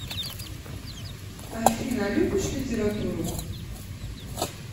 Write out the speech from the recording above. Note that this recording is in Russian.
афина любишь литературу